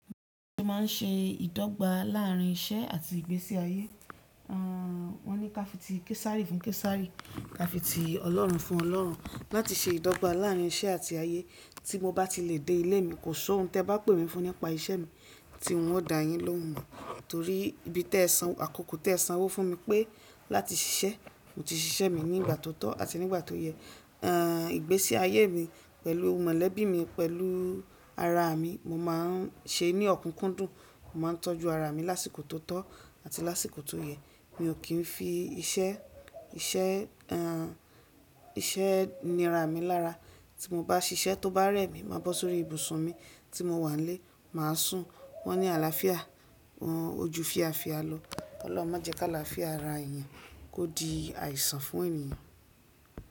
Má ń ṣe ìdọ́gba láàárín iṣẹ́ àti ìgbésí ayé? Wọ́n ní ká fi ti Késárí fún Késárí, ká fi ti Ọlọ́run fún Ọlọ́run. Láti ṣe ìdọ́gba láàárín iṣẹ́ àti ayé tí mo bá ti lè dé ilé mi, kò sọ́ oún tẹ bá pè mi fún nípa iṣẹ́ mi tí wọn o dà yín lóhun mò. Torí ibi tẹ san àkókò tẹ san owó fún mi pé láti ṣiṣẹ́, mo ti ṣiṣẹ́ mi ní ìgbà tó tọ́ àti ní ìgbà tó yẹ. Àn ìgbésí ayé mi pẹ̀lú mọ̀lẹ́bí mi pẹ̀lú ara mi, mo má ń ṣe ní ọ̀kúnkúndùn, mo má ń tọ́jú ara mi lásìkò tó tọ́ àti lásìkò tó yẹ. Mi ò kí ń fi iṣẹ́, iṣẹ́, iṣẹ́ nira mi lára. Tí mo bá ṣiṣẹ́ tó bá rẹ̀ mí, màá bọ́ sórí ibùsùn mi tí mo wà n lé, màá sùn. Wọ́n ni àlàáfíà, ojú fía fía lọ. Ọlọ́run má jẹ́ ká làáfíà ara èèyàn kó di àìsàn fún èèyàn.